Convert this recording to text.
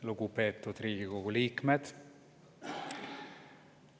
Lugupeetud Riigikogu liikmed!